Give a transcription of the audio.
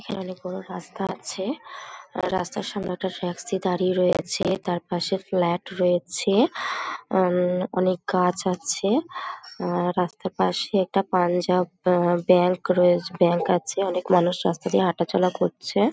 এখানে অনেক বড় রাস্তা আছে | রাস্তার সামনে একটা ট্যাক্সি দাঁড়িয়ে রয়েছে |তার পাশে ফ্ল্যাট রয়েছে উম অনেক গাছ আছে | আহ রাস্তার পাশে একটা পাঞ্জাব ব্যাংক রয়ে ব্যাংক আছে অনেক মানুষ রাস্তা দিয়ে হাঁটাচলা করছে ।